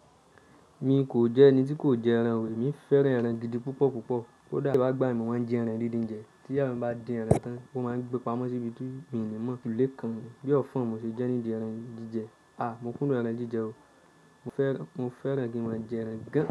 Mi kò jẹ́ ẹni tí kò jẹ ẹran o, èmi fẹ́ran ẹran gidi púpọ̀ púpọ̀. Ko dà n gbà mí mo máa ń ji ẹran díndín jẹ. Tí iya mi bá din ẹran tán, ó máa ń gbe pamọ́ síbi tí mi ní mọ̀. Kò le kan mi. Bi ọfọn mu ṣe jẹ́ ní di ẹran jíjẹ. Mo kùndùn ẹran jíjẹ o. Mo fẹ́ran, mo fẹ́ran kí maa jẹ ẹran gan.